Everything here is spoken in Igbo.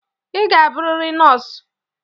Ị ga-abụrịrị nọọsụ!